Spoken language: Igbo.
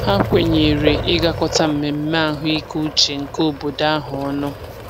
Ha kwenyere ịgakọta mmemme ahụikeuche nke obodo ahụ ọnụ.